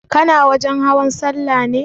Kana wajen hawan sallah ne?